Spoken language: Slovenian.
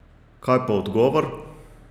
Kaj pa odgovor?